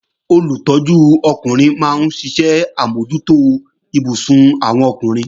Olùtọ́jú ọkùnrin máa ń ṣe àmójútó ibùsùn àwọn ọkùnrin